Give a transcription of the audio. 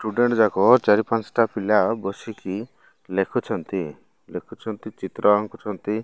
Students ଯାକ ଚାରି ପାଞ୍ଚଟା ପିଲା ବସି କି ଲେଖୁଛନ୍ତି ଚିତ୍ର ଆଙ୍କୁଛନ୍ତି।